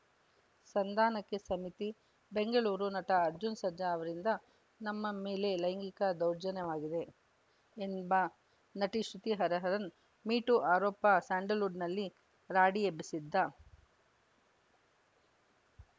ಸಂಧಾನಕ್ಕೆ ಸಮಿತಿ ಬೆಂಗಳೂರು ನಟ ಅರ್ಜುನ್‌ ಸರ್ಜಾ ಅವರಿಂದ ನಮ್ಮ ಮೇಲೆ ಲೈಂಗಿಕ ದೌರ್ಜನ್ಯವಾಗಿದೆ ಎಂಬ ನಟಿ ಶ್ರುತಿ ಹರಿಹರನ್‌ ಮೀ ಟೂ ಆರೋಪ ಸ್ಯಾಂಡಲ್‌ವುಡ್‌ನಲ್ಲಿ ರಾಡಿ ಎಬ್ಬಿಸಿದ್ದ